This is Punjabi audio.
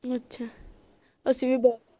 ਅੱਛਾ ਅਸੀਂ ਵੀ ਬੁਹਤ